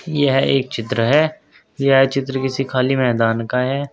यह एक चित्र है यह चित्र किसी खाली मैदान का है।